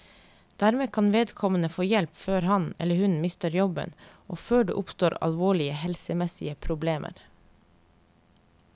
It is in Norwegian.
Dermed kan vedkommende få hjelp før han, eller hun, mister jobben og før det oppstår alvorlige helsemessige problemer.